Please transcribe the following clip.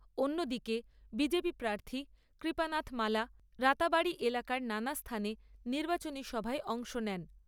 অন্যদিকে B J P প্রার্থী কৃপানাথ মালা রাতাবাড়ি এলাকার নানা স্থানে নির্বাচনী সভায় অংশ নেন।